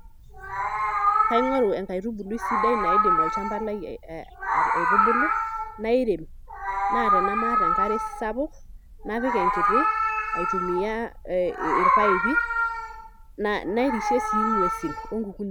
Kiang'oru enkaitubului sidai naidim olchamba lai aitubulu nairem naa tenamaata enkare sapuk napik enkiti aitumia ee irpaipi narishie sii ng'uesin onkukuni.